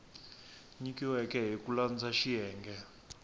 nyikiweke hi ku landza xiyenge